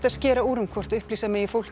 skera úr um hvort láta megi fólk